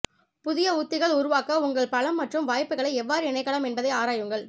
புதிய உத்திகள் உருவாக்க உங்கள் பலம் மற்றும் வாய்ப்புகளை எவ்வாறு இணைக்கலாம் என்பதை ஆராயுங்கள்